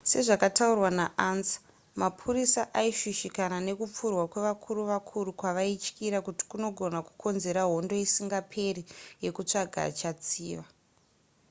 sezvakataurwa naansa mapurisa aishushikana nekupfurwa kwevakuru vakuru kwavaityira kuti kunogona kukonzera hondo isingaperi yekutsvaga achatsiva